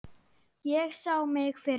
Ég sá mig fyrir mér.